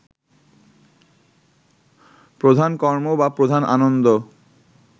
প্রধান কর্ম বা প্রধান আনন্দ